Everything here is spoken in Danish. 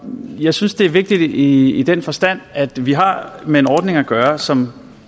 jeg synes det er vigtigt i den forstand at vi har med en ordning at gøre som